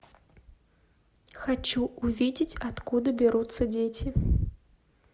хочу увидеть откуда берутся дети